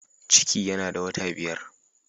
Ciki yana da wata biyar.